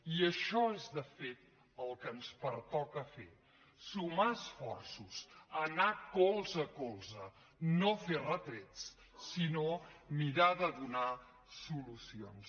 i això és de fet el que ens pertoca fer sumar esforços anar colze a colze no fer retrets sinó mirar de donar solucions